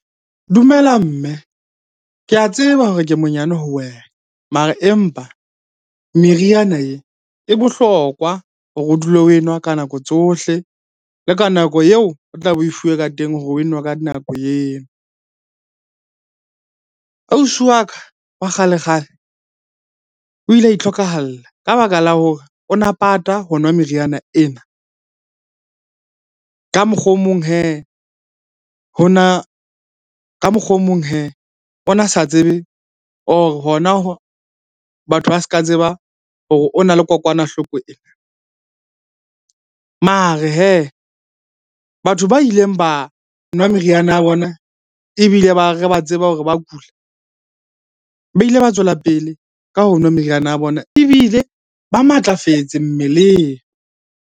Dumela mme. Ke a tseba hore ke monyane ho wena. Mara empa meriana e, e bohlokwa hore o dule oe nwa ka nako tsohle le ka nako eo o tlabe o fuwe ka teng hore oe nwe ka nako eo. Ausi wa ka wa kgale-kgale, o ile a itlhokahalla ka baka la hore o na pata ho nwa meriana ena. Ka mokgwa o mong hee ho na, ka mokgwa o mong hee o na sa tsebe or hona batho ba se ka tseba hore o na le kokwanahloko ena. Mare hee batho ba ileng ba nwa meriana ya bona ebile ba re ba tseba hore ba kula, ba ile ba tswela pele ka ho nwa meriana ya bona. Ebile ba matlafetse mmeleng.